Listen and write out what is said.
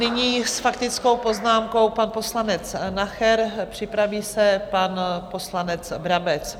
Nyní s faktickou poznámkou pan poslanec Nacher, připraví se pan poslanec Brabec.